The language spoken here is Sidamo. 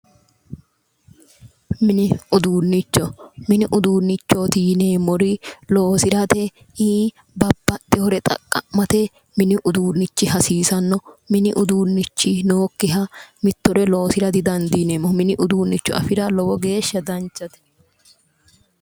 Mini uduunnichi, mini uduunnichooti yineemmori loosirate babbxxewoore xaqqa'mate mini uduunnichi hasiisanno mini uduunnichi nookkiha mittore loosira didandiineemmo. mini uduunnicho afira lowo geeshsha danchate.